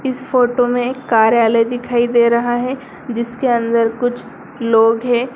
इस फोटो में कार्यालय दिखाई दे रहा है जिसके अंदर कुछ लोग हैं।